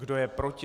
Kdo je proti?